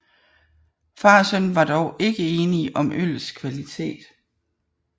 Far og søn var dog ikke enige om øllets kvalitet